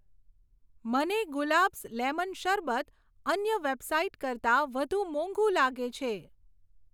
મને ગુલાબ્સ લેમન શરબત અન્ય વેબસાઈટ કરતાં વધુ મોંઘુ લાગે છે.